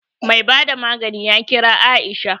Mai bada magani ya kira Aisha